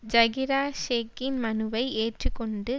ஜகிரா ஷேக்கின் மனுவை ஏற்றுக்கொண்டு